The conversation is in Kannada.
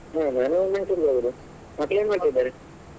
ಹಾ ನಾನು Mysore ಗೆ ಹೋಗುದು. ಮಕ್ಳು ಏನ್ ಮಾಡ್ತಾ ಇದ್ದಾರೆ?